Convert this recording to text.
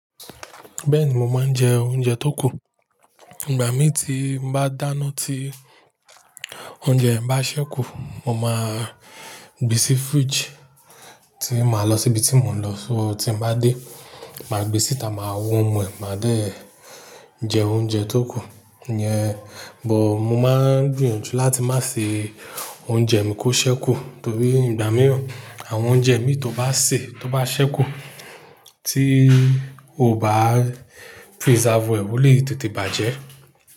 Bẹ́ẹ̀ni, mo máa ń jẹ oúnjẹ tó kù. Ìgbà mí tí mo bá dáná tí oúnjẹ mi bá ṣẹ́kù, mo máa gbé sí fridge, tí màá lọ síbi tí mò ń lọ. So tí mo bá dé, màá gbé síta, màá wo wọn mu, è máa dé jẹ oúnjẹ tó kù yẹn. But mo máa ń gbìyànjú láti má ṣe oúnjẹ mi kó ṣẹ́kù torí ìgbà mìíràn àwọn oúnjẹ mí tó bá sè tó bá ṣẹ́kù tí o bá preserve ẹ won le tètè bàjẹ́